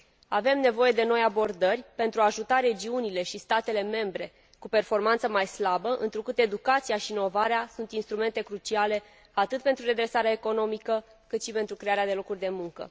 Avem nevoie de noi abordări pentru a ajuta regiunile și statele membre cu performanță mai slabă, întrucât educația și inovarea sunt instrumente cruciale atât pentru redresarea economică, cât și pentru crearea de locuri de muncă.